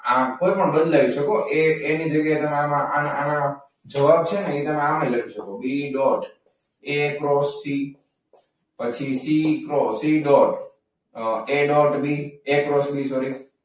ના કોઈ પણ બદલાઈ શકો આ એની જગ્યાએ તમે આના જવાબ છે ને તમે આમાં લખી શકો B dot A cross C પછી C cross C. A cross B જોડે.